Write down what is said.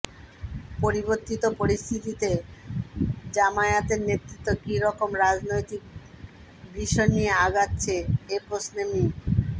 পরিবর্তিত পরিস্থিতিতে জামায়াতের নেতৃত্ব কী রকম রাজনৈতিক ভিশন নিয়ে আগাচ্ছে এ প্রশ্নে মি